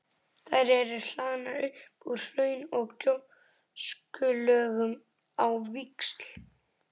Þær eru hlaðnar upp úr hraun- og gjóskulögum á víxl.